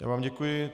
Já vám děkuji.